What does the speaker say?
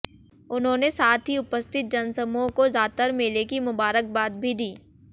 उन्होंने साथ ही उपस्थित जनसमूह को जातर मेले की मुबारकबाद भी दी